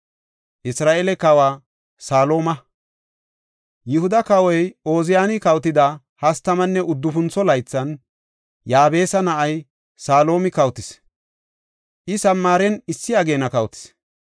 Yihuda kawoy Ooziyani kawotida hastamanne uddufuntho laythan, Yaabesa na7ay Salumi kawotis; I Samaaren issi ageena kawotis.